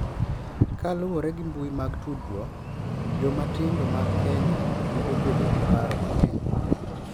Kaluwore gi mbui mag tudruok, joma tindo mag Kenya medo bedo gi paro mang’eny